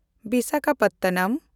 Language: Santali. ᱵᱤᱥᱟᱠᱷᱟᱯᱟᱴᱱᱟᱢ